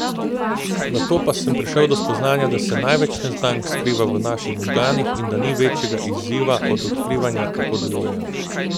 Nato pa sem prišel do spoznanja, da se največ neznank skriva v naših možganih in da ni večjega izziva od odkrivanja, kako delujejo.